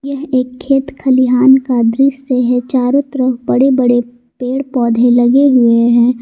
यह एक खेत खलिहान का दृश्य है चारों तरफ बड़े बड़े पेड़ पौधे लगे हुए हैं।